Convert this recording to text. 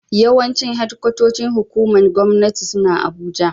Yawancin shedikwatocin hukumomin Gwamnati suna Abuja.